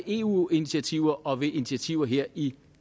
eu initiativer og ved initiativer her i